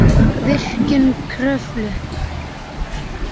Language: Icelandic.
Virkjun Kröflu